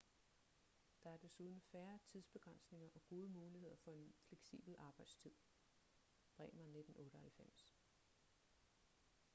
der er desuden færre tidsbegrænsninger og gode muligheder for en fleksibel arbejdstid. bremer 1998